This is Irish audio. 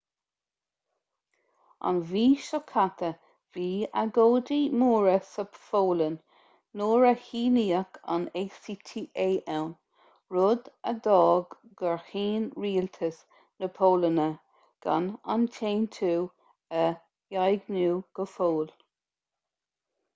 an mhí seo caite bhí agóidí móra sa pholainn nuair a shíníodh an acta ann rud a d'fhág gur chinn rialtas na polainne gan an t-aontú a dhaingniú go fóill